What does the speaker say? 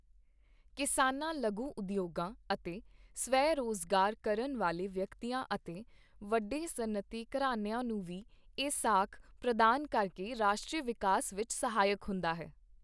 ਕਿਸਾਨਾਂ ਲਘੂ ਉਦਯੋਗਾਂ ਅਤੇ ਸਵੈ ਰੋਜ਼ਗਾਰ ਕਰਨ ਵਾਲੇ ਵਿਅਕਤੀਆਂ ਅਤੇ ਵੱਡੇ ਸਨਅਤੀ ਘਰਾਣਿਆਂ ਨੂੰ ਵੀ ਇਹ ਸਾਖ ਪ੍ਰਦਾਨ ਕਰਕੇ ਰਾਸ਼ਟਰੀ ਵਿਕਾਸ ਵਿੱਚ ਸਹਾਇਕ ਹੁੰਦਾ ਹੈ।